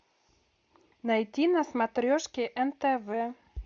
найти на смотрешке нтв